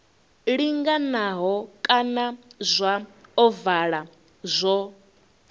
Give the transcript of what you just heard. linganaho kana zwa ovala zwo